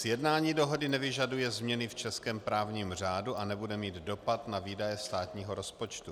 Sjednání dohody nevyžaduje změny v českém právním řádu a nebude mít dopad na výdaje státního rozpočtu.